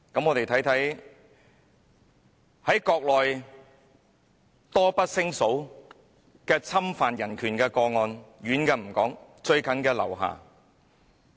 "我們看看在國內多不勝數的侵犯人權個案，我不說遠的，最近的是劉霞。